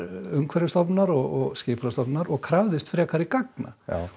Umhverfisstofnunar og Skipulagsstofnunar og krafðist frekari gagna